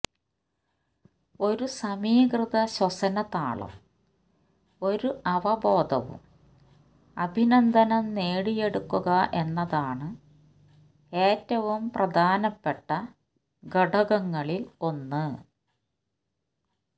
ഒരു സമീകൃത ശ്വസന താളം ഒരു അവബോധവും അഭിനന്ദനം നേടിയെടുക്കുക എന്നതാണ് ഏറ്റവും പ്രധാനപ്പെട്ട ഘടകങ്ങളിൽ ഒന്ന്